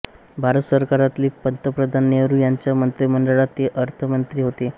भारत सरकारातील पंतप्रधान नेहरू यांच्या मंत्रिमंडळात ते अर्थमंत्री होते